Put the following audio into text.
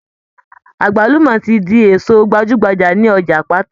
Àgbálùmọ́ ti di èso gbajúgbajà ní ọjà Àpáta.